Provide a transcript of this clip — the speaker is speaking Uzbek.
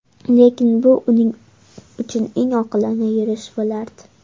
Lekin bu uning uchun eng oqilona yurish bo‘lardi.